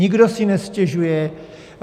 Nikdo si nestěžuje.